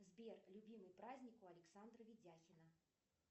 сбер любимый праздник у александра ведяхина